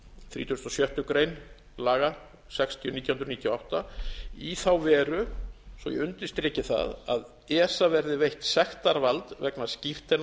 þrítugasta og sjöttu grein laga sextíu nítján hundruð níutíu og átta í þá veru svo ég undirstriki það að esa verði veitt sektarvald vegna skírteina